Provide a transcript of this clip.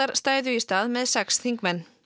stæðu í stað með sex þingmenn